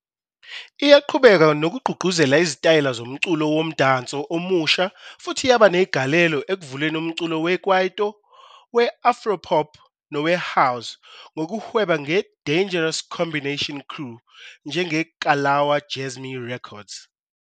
Iyaqhubeka nokugqugquzela izitayela zomculo womdanso omusha futhi yaba negalelo ekuvuleni umculo we-kwaito, we-afro-pop nowe-house ngokuhweba ngeDangerous Combination Crew njengeKalawa Jazzmee Records.